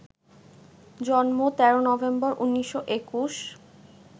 জন্ম ১৩ নভেম্বর, ১৯২১